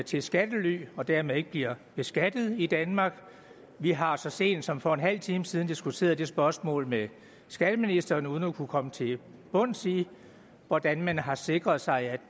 til skattely og dermed ikke bliver beskattet i danmark vi har så sent som for en halv time siden diskuteret det spørgsmål med skatteministeren uden at kunne komme til bunds i hvordan man har sikret sig